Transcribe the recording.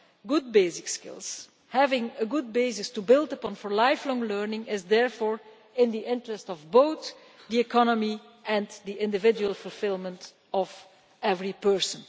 Good basic skills, having a good basis to build upon for lifelong learning, is therefore in the interest of both the economy and the individual fulfilment of every person.